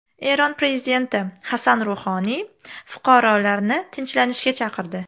Eron prezidenti Hasan Ruhoniy fuqarolarni tinchlanishga chaqirdi.